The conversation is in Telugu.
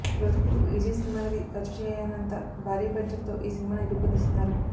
ఇప్పటివరకు విజయ్ సినిమాలకి ఖర్చు చేయనంత భారీ బడ్జెట్ తో ఈ సినిమాని రూపొందిస్తున్నారు